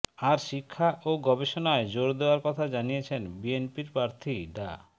আর শিক্ষা ও গবেষণায় জোর দেওয়ার কথা জানিয়েছেন বিএনপির প্রার্থী ডা